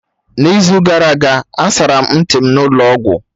N'izu gara aga asara m ntị m n'ụlọ ọgwụ